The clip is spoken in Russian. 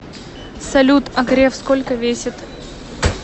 салют а греф сколько весит